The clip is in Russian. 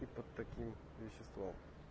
и под таким веществом